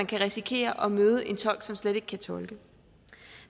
kan risikere at møde en tolk som slet ikke kan tolke